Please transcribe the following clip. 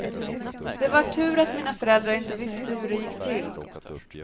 Det var tur att mina föräldrar inte visste hur det gick till.